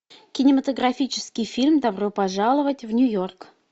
кинематографический фильм добро пожаловать в нью йорк